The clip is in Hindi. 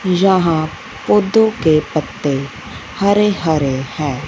यहां पौधों के पत्ते हरे हरे हैं।